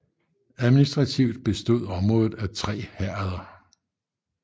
Administrativt bestod området af tre herreder